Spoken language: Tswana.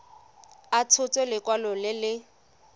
a tshotse lekwalo le le